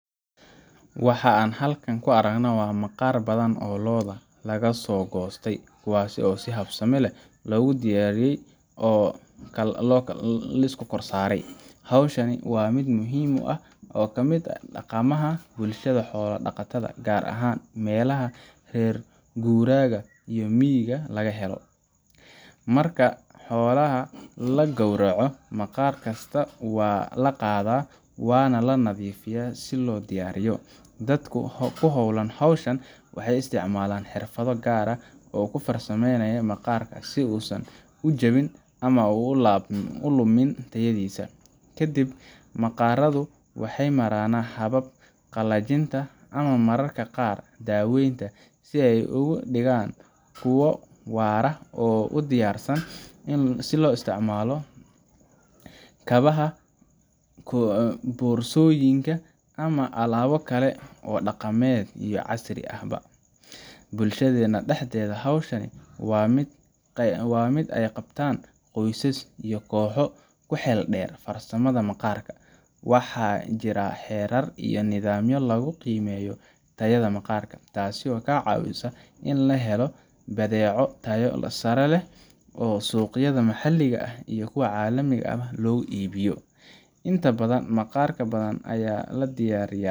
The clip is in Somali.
Waxa aan halkan ku aragnaa maqaar badan oo lo’da laga soo goostay, kuwaas oo si habsami leh loo diyaariyey oo loo kala saaray. Hawshan waa mid muhiim ah oo ka mid ah dhaqamada bulshada xoolo dhaqatada, gaar ahaan meelaha reer guuraaga iyo miyiga laga helo. Marka xoolaha la gowraco, maqaar kasta waa la qaadaa oo waa la nadiifiyaa si loo diyaariyo. Dadka ku hawlan hawshan waxay isticmaalaan xirfado gaar ah oo ay ku farsameeyaan maqaarka si uusan u jabin ama u lumin tayadiisa. Kadib maqaaradu waxay maraan hababka qallajinta iyo mararka qaar daweynta si ay uga dhigaan kuwo waara oo u diyaarsan in loo isticmaalo kabaha, boorsooyinka, ama alaabo kale oo dhaqameed iyo casri ahba. Bulshadeena dhexdeeda, hawshan waa mid ay qabtaan qoysas iyo kooxo ku xeeldheer farsamada maqaarka. Waxaa jira xeerar iyo nidaamyo lagu qiimeeyo tayada maqaarka, taasoo ka caawisa in la helo badeeco tayo sare leh oo suuqyada maxalliga iyo kuwa caalamkaba loo iibiyo. Inta badan, maqaar badan oo la diyaariya